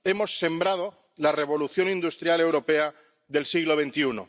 Hemos sembrado la revolución industrial europea del siglo XXI.